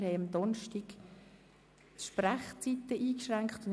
Wir haben am Donnerstag die Sprechzeiten eingeschränkt.